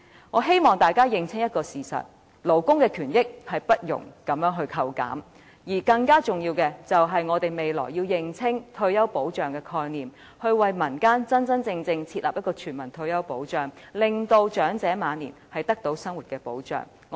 我希望大家認清一個事實，勞工權益不容這樣扣減，而更重要的是，我們要認清退休保障的概念，真真正正設立全民退休保障，令長者晚年的生活得到保障。